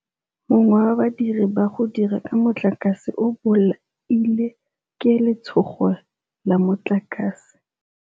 Mongwe wa badiri ba go dira ka motlakase o boaile ke letshôgô la motlakase.